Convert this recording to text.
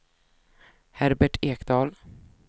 Herbert Ekdahl